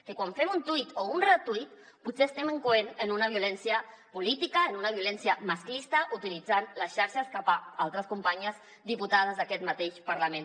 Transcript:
que quan fem un tuit o un retuit potser estem incorrent en una violència política en una violència masclista utilitzant les xarxes cap a altres companyes diputades d’aquest mateix parlament